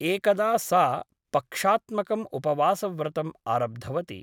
एकदा सा पक्षात्मकम् उपवासव्रतम् आरब्धवती ।